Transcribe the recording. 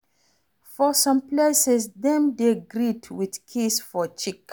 For some places, dem dey greet with kiss for cheek